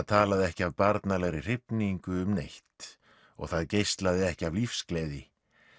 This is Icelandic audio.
talaði ekki af barnalegri hrifningu um neitt og það geislaði ekki af lífsgleði